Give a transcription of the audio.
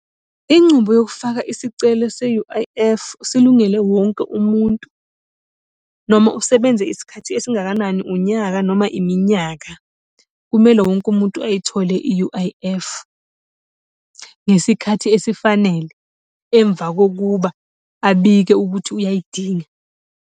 Incubo yokufaka isicelo se-U_I_F, silungele wonke umuntu. Noma usebenza isikhathi esingakanani, unyaka noma iminyaka. Kumele wonke umuntu ayithole i-U_I_F, ngesikhathi esifanele, emva kokuba abike ukuthi uyayidinga.